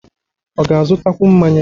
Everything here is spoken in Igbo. Ọ ga-azụtakwu mmanya?